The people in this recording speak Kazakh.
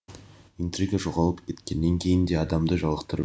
интрига жоғалып кеткеннен кейін де адамды жалықтырып